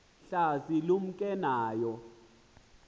hlasi lumke nayo